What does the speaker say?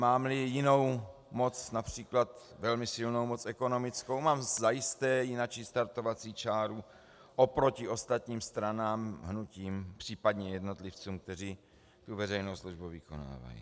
Mám-li jinou moc, například velmi silnou moc ekonomickou, mám zajisté jinačí startovací čáru oproti ostatním stranám, hnutím, případně jednotlivcům, kteří veřejnou službu vykonávají.